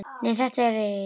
Nei, þetta eru eyrun.